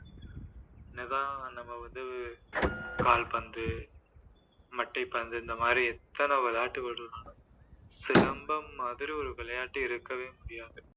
என்னதான் நம்ம வந்து கால்பந்து, மட்டை பந்து இந்த மாதிரி எத்தனை விளையாட்டு சிலம்பம் மாதிரி ஒரு விளையாட்டு இருக்கவே முடியாது